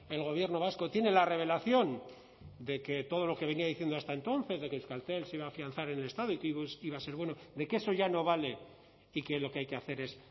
el gobierno vasco tiene la revelación de que todo lo que venía diciendo hasta entonces de que euskaltel se iba a afianzar en el estado y que iba a ser bueno de que eso ya no vale y que lo que hay que hacer es